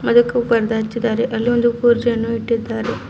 ಇದಕ್ಕು ಪರ್ದೆ ಹಚ್ಚಿದ್ದಾರೆ ಅಲ್ಲಿ ಒಂದು ಕುರ್ಚಿಯನ್ನು ಇಟ್ಟಿದ್ದಾರೆ.